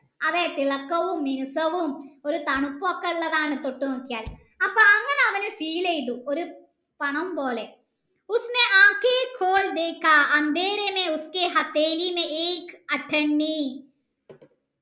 അതെ കിളക്കവും മിനുസ്സവും ഒരു തണുപ്പൊക്കെ ഉള്ളതാണ് തൊട്ടു നോക്കിയാൽ അപ്പൊ അങ്ങനെ അവന് feel യ്തു ഒരു പണംപോലെ